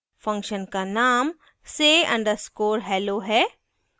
function का name say _ underscore hello है